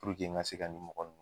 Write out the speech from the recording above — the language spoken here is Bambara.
Puruke n ka se nin mɔgɔ